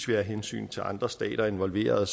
være hensyn til andre stater involveret